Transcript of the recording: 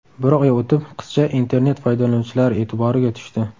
Bir oy o‘tib qizcha internet foydalanuvchilari e’tiboriga tushdi.